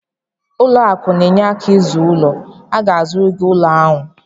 Ụlọ akụ na-enyere aka izu ulo, ha ga-azụrụ gị ụlọ ahụ?